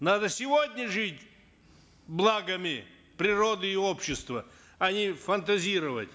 надо сегодня жить благами природы и общества а не фантазировать